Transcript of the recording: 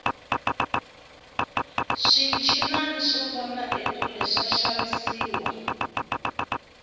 swinchinana swo vona ekule swa xavisiwa